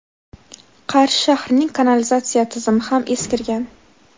Qarshi shahrining kanalizatsiya tizimi ham eskirgan.